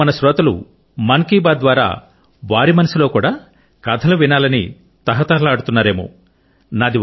ఇపుడు మన శ్రోతలు మన్ కి బాత్ ద్వారా వారి మనసులో కూడా కథలు వినాలని తహతహలాడుచున్నారేమో